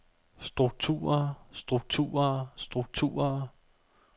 strukturer strukturer strukturer